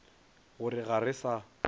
go re ga re sa